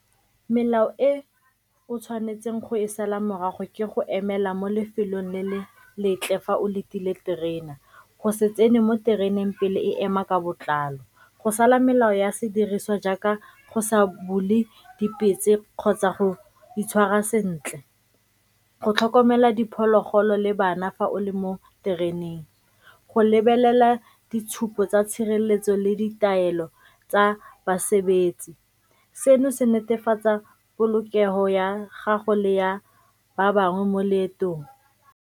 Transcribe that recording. Melao e o tshwanetseng go e sala morago ke go emela mo lefelong le le letle fa o letile terena, go se tsene mo tereneng pele e ema ka botlalo, go sala melao ya sediriswa jaaka go sa bule dipetse kgotsa go itshwara sentle, go tlhokomela diphologolo le bana fa o le mo tereneng, go lebelela ditshupo tsa tshireletso le ditaelo tsa basebetsi. Seno se netefatsa polokego ya gago le ya ba bangwe mo leetong.